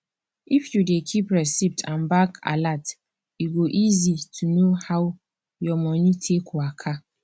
if you dey keep receipt and bank alerts e go easy to know how your money take waka